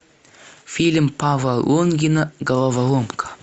фильм павла лунгина головоломка